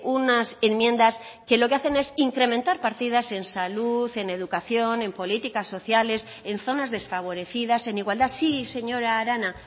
unas enmiendas que lo que hacen es incrementar partidas en salud en educación en políticas sociales en zonas desfavorecidas en igualdad sí señora arana